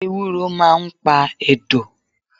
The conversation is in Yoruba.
Ewúro máà ń pa ẹ̀dọ̀